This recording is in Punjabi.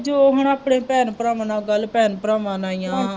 ਜੋ ਹੁਣ ਆਪਣੇ ਭੈਣ ਭਰਾਵਾਂ ਨਾਲ ਗੱਲ, ਭੈਣ ਭਰਾਵਾਂ ਨਾਲ ਹੀ ਹੈ